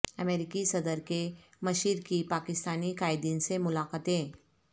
امریکی صدر کے مشیر کی پاکستانی قائدین سے ملاقاتیں